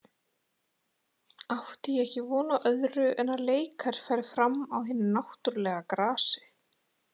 Átti ég ekki von á öðru en að leikar færu fram á hinu náttúrulega grasi.